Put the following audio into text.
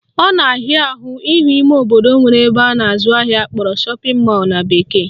Ọ na-ahịa ahụ ịhụ ime obodo nwere ebe a na-azụ ahịa akpọrọ shopping mall na bekee